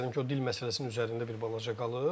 Mən istərdim ki, o dil məsələsinin üzərində bir balaca qalım.